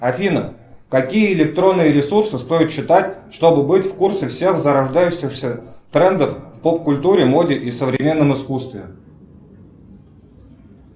афина какие электронные ресурсы стоит читать чтобы быть в курсе всех зарождающихся трендов в поп культуре моде и современном искусстве